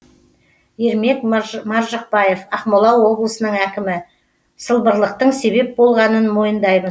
ермек маржықпаев ақмола облысының әкімі сылбырлықтың себеп болғанын мойындаймыз